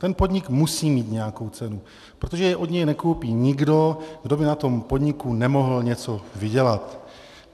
Ten podnik musí mít nějakou cenu, protože jej od něj nekoupí nikdo, kdo by na tom podniku nemohl něco vydělat.